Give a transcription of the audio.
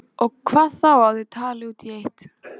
Og hvað þá að þau tali út í eitt.